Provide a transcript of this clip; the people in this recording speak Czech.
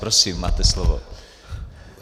Prosím, máte slovo.